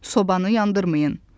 Sobanı yandırmayın.